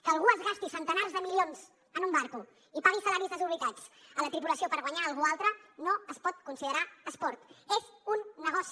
que algú es gasti centenars de milions en un vaixell i pagui salaris desorbitats a la tripulació per guanyar hi algú altre no es pot considerar esport és un negoci